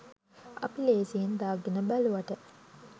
අපි ලේසියෙන් දාගෙන බැලුවට